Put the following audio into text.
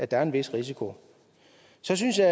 der er en vis risiko så synes jeg